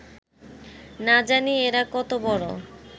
না জানি এঁরা কত বড়